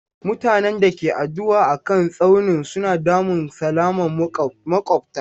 Mutanen da ke addu'a a kan tsaunin suna damun salaman makwabta.